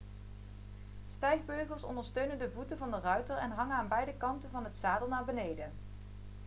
stijgbeugels ondersteunen de voeten van de ruiter en hangen aan beide kanten van het zadel naar beneden